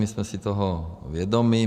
My jsme si toho vědomi.